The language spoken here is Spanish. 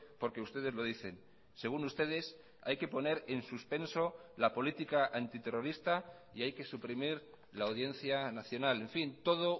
porque ustedes lo dicen según ustedes hay que poner en suspenso la política antiterrorista y hay que suprimir la audiencia nacional en fin todo